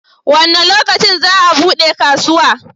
Wa ne lokacin ne za a bude kasuwa?